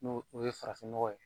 N'o o ye farafin nɔgɔ ye.